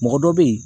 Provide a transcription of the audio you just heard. Mɔgɔ dɔ bɛ ye